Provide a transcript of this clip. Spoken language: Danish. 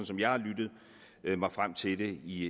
som jeg har lyttet mig frem til det i